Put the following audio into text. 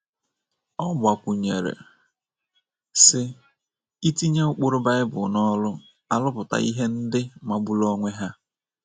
Ọ gbakwụnyere, sị: “ Itinye ụkpụrụ Bible n’ọrụ arụpụta ihe ndị magburu onwe ha. ”